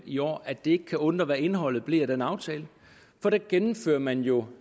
i år at det ikke kan undre hvad indholdet blev af den aftale for der gennemfører man jo